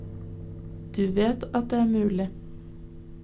Du vet at det er mulig.